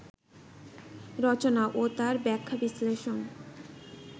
রচনা ও তার ব্যাখ্যা-বিশ্লেষণ